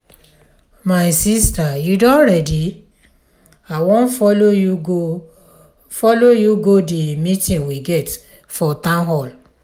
my sister you don ready? i wan follow you go follow you go the meeting we get for town hall.